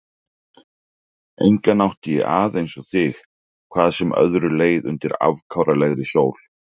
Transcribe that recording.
Engan átti ég að einsog þig, hvað sem öðru leið undir afkáralegri sól.